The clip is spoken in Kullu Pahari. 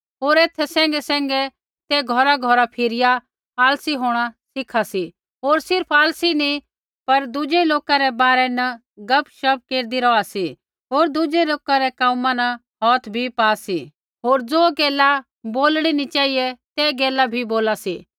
होर एथा सैंघैसैंघै ते घौराघौरा फिरिया आलसी होंणा सीखा सी होर सिर्फ़ आलसी नी पर दुज़ै लोका बारै न गपशप केरदी रौहा सी होर दुज़ै रै कोमा न हौथ भी पा सी होर ज़ो गैला बोलणा नी चेहिऐ ते गैला भी बोला सी